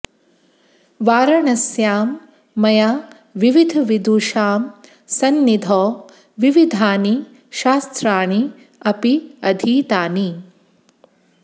वाराणस्यां मया विविधविदुषां सन्निधौ विविधानि शास्त्राणि अपि अधीतानि